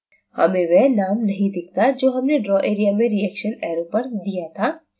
हमें वह name नहीं दिखता जो हमने draw area में reaction arrow पर दिया था